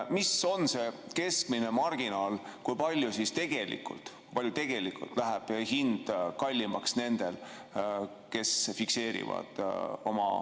Mis on see keskmine marginaal, kui palju tegelikult läheb hind kallimaks nendel, kes oma hinna fikseerivad?